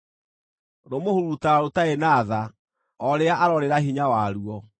Rũmũhurutaga rũtarĩ na tha o rĩrĩa aroorĩra hinya waruo.